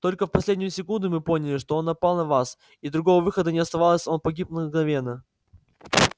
только в последнюю секунду мы поняли что он напал на вас и другого выхода не оставалось он погиб мгновенно